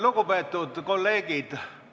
Lugupeetud kolleegid!